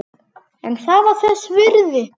En það var þess virði.